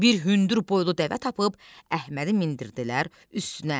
Bir hündür boylu dəvə tapıb, Əhmədi mindirdilər üstünə.